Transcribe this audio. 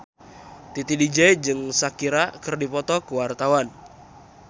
Titi DJ jeung Shakira keur dipoto ku wartawan